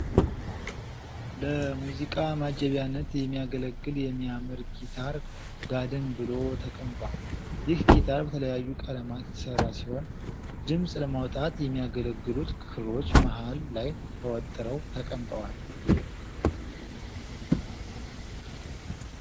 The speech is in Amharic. ለሙዚቃ ማጀቢያነት የሚያገለግል የሚያምር ጊታር ጋደም ብሎ ተቀምጧል። ይህ ጊታር በተለያዩ ቀለማት የተሰራ ሲሆን ድምጽ ለማውጣት የሚያገለግሉት ክሮች መሃል ላይ ተወጥረው ተቀምጠዋል።